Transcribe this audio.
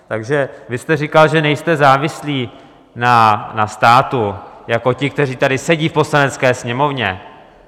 Takže vy jste říkal, že nejste závislý na státu jako ti, kteří tady sedí v Poslanecké sněmovně.